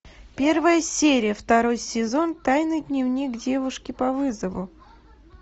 первая серия второй сезон тайный дневник девушки по вызову